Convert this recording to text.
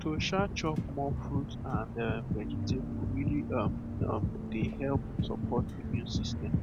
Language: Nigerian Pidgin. to um chop more fruit and um vegetable really um um dey help support immune system